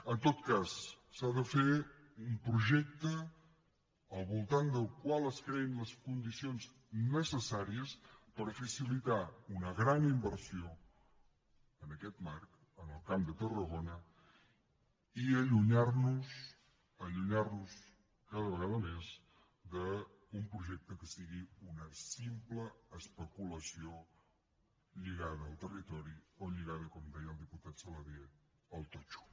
en tot cas s’ha de fer un projecte al voltant del qual es creïn les condicions necessàries per facilitar una gran inversió en aquest marc en el camp de tarragona i allunyar nos allunyar nos cada vegada més d’un projecte que sigui una simple especulació lligada al territori o lligada com deia el diputat saladié al totxo